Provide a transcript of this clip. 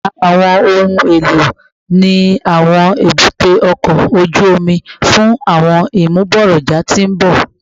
Mura awọn ohun elo ni awọn ebute oko oju omi fun awọn imugboroja ti n bọ